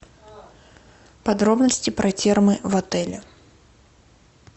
подробности про термы в отеле